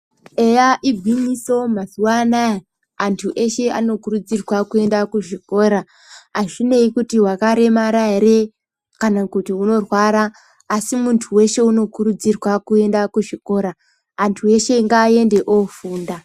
Eya, igwinyiso mazuwa anaya antu eshe vanokurudzirwe kuenda kuchikora, azvinei kuti wakaremara ere, kana kuti unorwara, asi muntu weshe unokurudzirwa kuenda kuzvikora, antu eshe ngaaende ofunda.